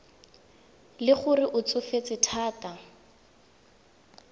le gore o tsofetse thata